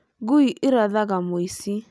Ngũi ĩrathaga mũici